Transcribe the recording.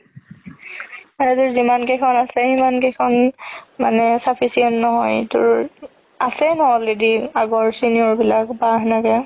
আৰু তোৰ যিমান কেইখন আছে খিমান কেইখন মানে sufficient নহয় তোৰ আছেয়ে ন already আগৰ senior বিলাক